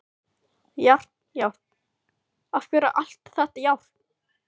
Járn, járn, af hverju allt þetta járn?